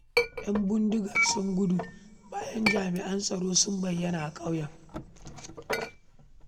Yan bindigar sun gudu bayan jami'an tsaro sun bayyana a ƙauyen